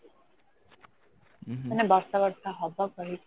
ବର୍ଷା ବର୍ଷା ହବ କହିକି